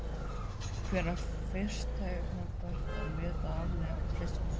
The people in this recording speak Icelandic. Hvenær var fyrst tímabært að meta afleiðingar slyssins?